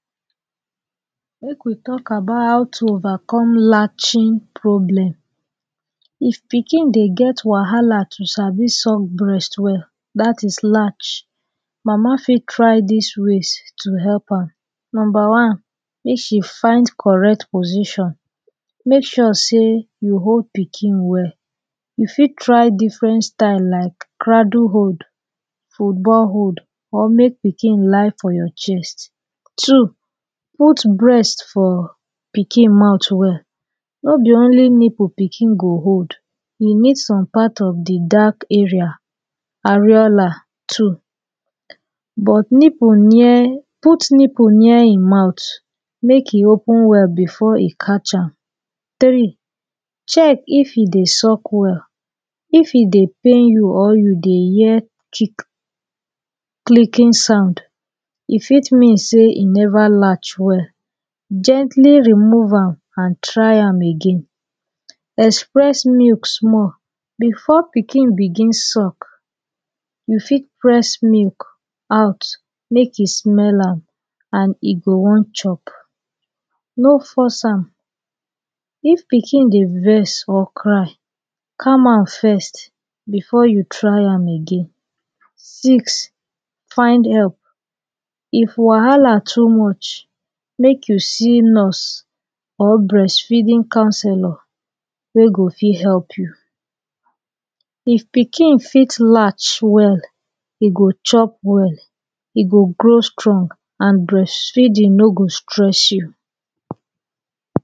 Make we talk about how to overcome latching problem. If pikin dey get wahala to sabi suck breast well dat is latch. Mama fit try dis ways to help am: Numba one, Make she find correct position. Make sure sey you hold pikin well. Make sure sey you hold pikin well. you fit try difren style like cradul hold, football hold, or make pikin lie for your chest. Two, put breast for pikin mouth well. No be only nipul pikin go hold. E need some part of de dark area, areola too. But nipul near, put nipul near e mouth make e open well before e catch am. Three, check if e dey suck well, if e dey pain you or you dey hear chick, clicking sound, e fit mean sey e never latch well, gently remove am and try am again. Express milk small before pikin begin suck. You fit press milk out, make e small am and e go wan chop. No force am. If pikin dey vex or cry, calm am first before you try am again. Six, find help. If wahala too much make you see nurse or breastfeeding counsellor wey go fit help you. If pikin fit latch well, e go chop well, e go grow strong and breastfeeding no go stress you.